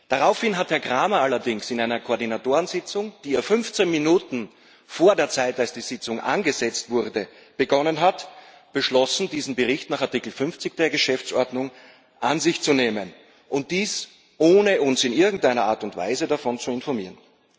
Daraufhin hat Herr Cramer allerdings in einer Koordinatorensitzung, die er 15 Minuten vor der Zeit, als die Sitzung angesetzt wurde, begonnen hat, beschlossen, diesen Bericht nach Artikel 50 der Geschäftsordnung an sich zu nehmen, und dies ohne uns in irgendeiner Art und Weise davon zu informieren.